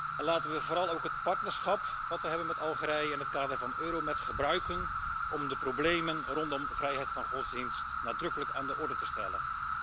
En laten we vooral ook het partnerschap dat we hebben met Algerije in het kader van Euromed gebruiken om de problemen rondom vrijheid van godsdienst nadrukkelijk aan de orde te stellen.